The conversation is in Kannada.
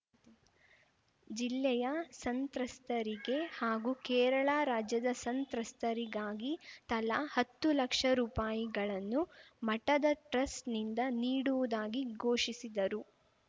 ಜಿಲ್ಲೆಯ ಸಂತ್ರಸ್ತರಿಗೆ ಹಾಗೂ ಕೇರಳ ರಾಜ್ಯದ ಸಂತ್ರಸ್ತರಿಗಾಗಿ ತಲಾ ಹತ್ತು ಲಕ್ಷ ರುಪಾಯಿಗಳನ್ನು ಮಠದ ಟ್ರಸ್ಟ್‌ನಿಂದ ನೀಡುವುದಾಗಿ ಘೋಷಿಸಿದರು